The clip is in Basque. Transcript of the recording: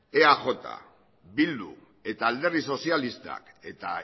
eaj bildu eta alderdi sozialistak eta